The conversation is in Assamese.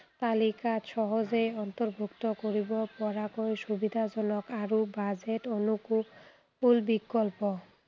তালিকাত সহজেই অৰ্ন্তভূক্ত কৰিব পৰাকৈ সুবিধাজনক আৰু budget অনুকুল বিকল্প